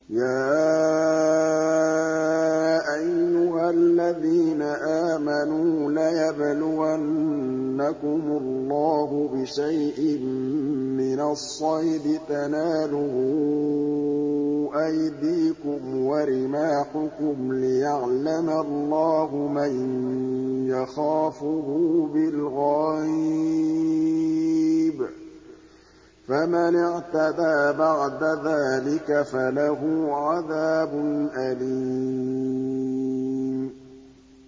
يَا أَيُّهَا الَّذِينَ آمَنُوا لَيَبْلُوَنَّكُمُ اللَّهُ بِشَيْءٍ مِّنَ الصَّيْدِ تَنَالُهُ أَيْدِيكُمْ وَرِمَاحُكُمْ لِيَعْلَمَ اللَّهُ مَن يَخَافُهُ بِالْغَيْبِ ۚ فَمَنِ اعْتَدَىٰ بَعْدَ ذَٰلِكَ فَلَهُ عَذَابٌ أَلِيمٌ